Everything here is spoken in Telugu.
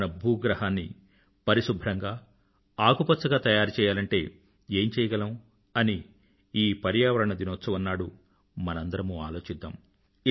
మన భూగ్రహాన్ని పరిశుభ్రంగా ఆకుపచ్చగా తయారుచెయ్యాలంటే ఏం చెయ్యగం అని ఈ పర్యావరణ దినోత్సవం నాడు మనందరమూ ఆలోచిద్దాం